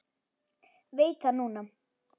Veit það núna.